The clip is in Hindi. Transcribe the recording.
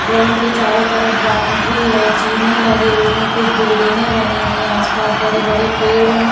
ग्राउंड के चारो तरफ बाउंड्री है जीने लगे हुए है कुछ बिल्डिंगे बनी हुई है आस-पास बड़े-बड़े पेड़ है।